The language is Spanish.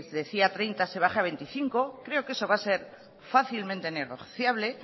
decía treinta se baja a veinticinco creo que eso va a ser fácilmente negociable